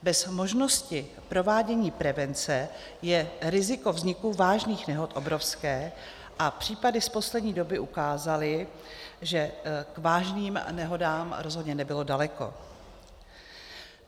Bez možnosti provádění prevence je riziko vzniku vážných nehod obrovské a případy z poslední doby ukázaly, že k vážným nehodám rozhodně nebylo daleko.